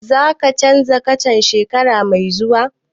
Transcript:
Za ka canza kacan shekara mai zuwa?